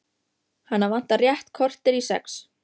Hana vantar rétt kortér í sex.